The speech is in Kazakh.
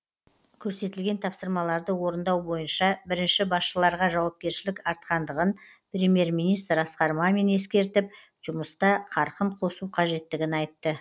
көрсетілген тапсырмаларды орындау бойынша бірінші басшыларға жауапкершілік артқандығын премьер министр асқар мамин ескертіп жұмыста қарқын қосу қажеттігін айтты